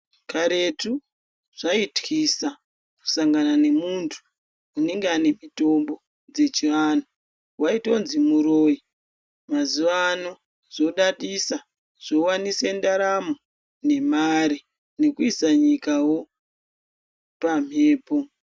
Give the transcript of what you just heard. Karetu zvaitwisa kusangana nemuntu anenge anemitombo dzechiantu. Vaitonzi muroi mazuva ano zvodadisa zvovanise ndaramo nemari nekuisa nyikavo pamhepo.